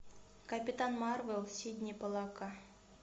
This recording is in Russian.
капитан марвел сидни поллака